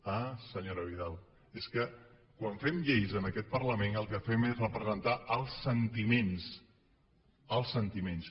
ah senyora vidal és que quan fem lleis en aquest parlament el que fem és representar els sentiments els sentiments